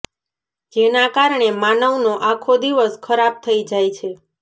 જેના કારણે માનવ નો આખો દિવસ ખરાબ થઈ જાય છે